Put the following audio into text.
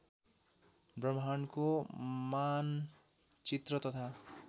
ब्रह्माण्डको मानचित्र तथा